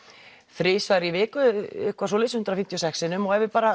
þrisvar í viku eitthvað svoleiðis hundrað fimmtíu og sex sinnum og ef við